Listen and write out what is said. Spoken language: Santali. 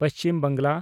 ᱯᱚᱪᱷᱤᱢ ᱵᱟᱝᱞᱟ